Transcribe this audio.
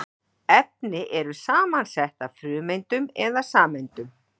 Efni eru samansett af frumeindum eða sameindum.